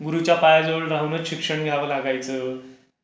गुरुच्या पायाजवळ राहूनच शिक्षण घ्यावं लागायचं.